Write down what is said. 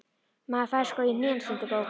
Maður fær sko í hnén, stundi Gógó.